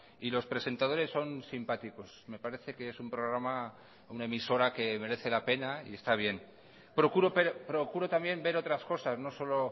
y los presentadores son simpáticos me parece que es un programa una emisora que merece la pena y está bien procuro también ver otras cosas no solo